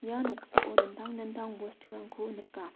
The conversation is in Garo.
ia noksao dingtang dingtang bosturangko nika.